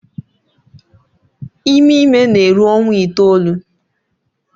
Ime ime na-eru ọnwa itoolu